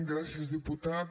gràcies diputat